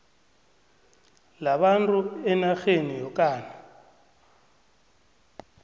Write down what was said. labantu enarheni yokana